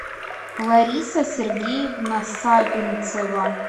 лариса сергеевна савинцева